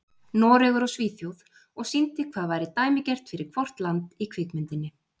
Noregur og Svíþjóð, og sýndi hvað væri dæmigert fyrir hvort land í kvikmyndinni.